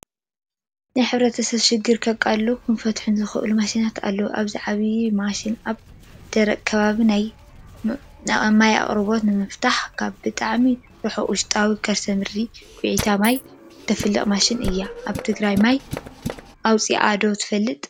ናይ ሕ/ሰብ ሽግር ከቃልሉን ክፈትሑን ዝኽእሉ ማሽናት ኣለው፡፡ እዚኣ ዓባይ ማሽን ኣብ ደረቕ ከባቢ ናይ ማይ ኣቕርቦት ንምፍታሕ ካብ ብጣዕሚ ሩሑቅ ውሽጣዊ ከርሰ ምድሪ ኺዒታ ማይ እተፍልቕ ማሽን እያ፡፡ ኣብ ትግራይ ማይ ኣውፂኣ ዶ ትፈልጥ?